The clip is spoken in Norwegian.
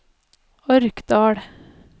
Orkdal